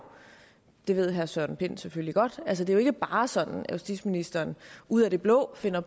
det ved herre søren pind selvfølgelig godt altså det er jo ikke bare sådan at justitsministeren ud af det blå finder